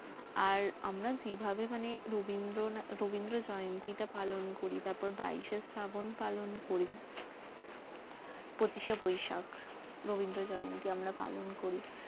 আর আমরা যেভাবে মানে রবিন্দ্র রবিন্দ্র জয়ন্তি টা পালন করি তারপর বাইসে শ্রাবন পালন করি পঁচিশ শে বৈশাখ রবিন্দ্র জয়ন্তি আমরা পালন করি